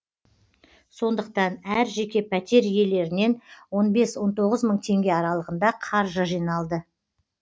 сондықтан әр жеке пәтер иелерінен он бес он тоғыз мың теңге аралығында қаржы жиналды